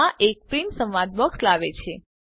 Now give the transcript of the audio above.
આ એક પ્રિંટ સંવાદ બોક્સ લાવે છે